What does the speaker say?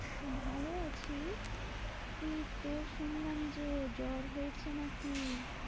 ভালো আছি। তুই তোর শুনলাম যে জ্বর হয়েছে নাকি?